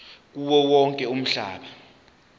kuwo wonke umhlaba